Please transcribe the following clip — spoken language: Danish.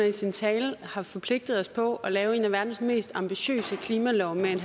i sin tale har forpligtet os på at lave en af verdens mest ambitiøse klimalove med et